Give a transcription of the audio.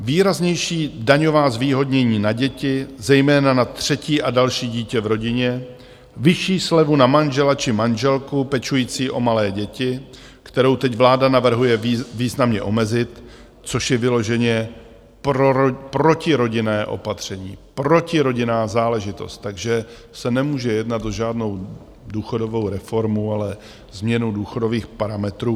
Výraznější daňová zvýhodnění na děti, zejména na třetí a další dítě v rodině, vyšší slevu na manžela či manželku pečující o malé děti, kterou teď vláda navrhuje významně omezit, což je vyloženě protirodinné opatření, protirodinná záležitost, takže se nemůže jednat o žádnou důchodovou reformu, ale změnu důchodových parametrů.